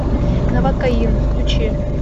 новокаин включи